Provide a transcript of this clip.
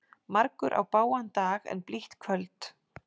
Margur á bágan dag en blítt kvöld.